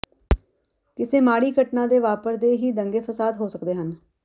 ਕਿਸੇ ਮਾੜੀ ਘਟਨਾ ਦੇ ਵਾਪਰਦੇ ਹੀ ਦੰਗੇ ਫ਼ਸਾਦ ਹੋ ਸਕਦੇ ਹਨ